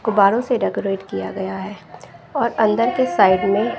गुब्बारों से डेकोरेट किया गया है और अंदर के साइड में--